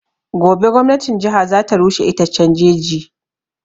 Gobe gwamnatin jiha za ta rushe itaccen jeji